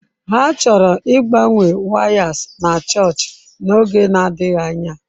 Ha chọrọ ịgbanwe wires na chọọchị n'oge na-adịghị anya.